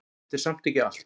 Þetta er samt ekki allt.